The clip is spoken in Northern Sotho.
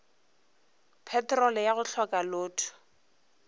petrolo ya go hloka loto